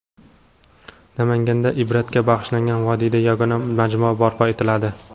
Namanganda Ibratga bag‘ishlangan vodiyda yagona majmua barpo etiladi.